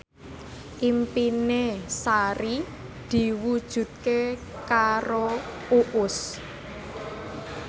impine Sari diwujudke karo Uus